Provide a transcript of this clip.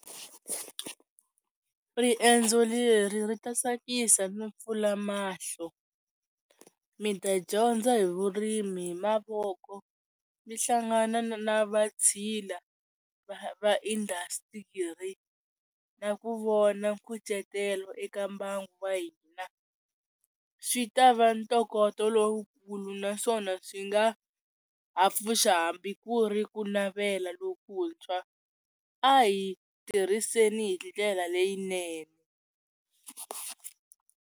Riendzo leri ri ta tsakisa no pfula mahlo mi ta dyondza hi vurimi hi mavoko mi hlangana na na vatshila va va industry-i na ku vona nkucetelo eka mbangu wa hina swi ta va ntokoto lowukulu naswona swi nga ha pfuxa hambi ku ri ku navela lokuntshwa a hi tirhiseni hi ndlela leyinene.